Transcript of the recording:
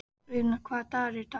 Auðna, hvaða dagur er í dag?